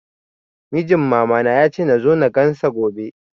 Mijin mama na ya ce nazo na gan sa gobe